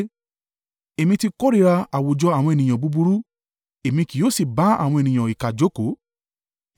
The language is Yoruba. Èmi ti kórìíra àwùjọ àwọn ènìyàn búburú èmi kì yóò sì bá àwọn ènìyàn ìkà jókòó.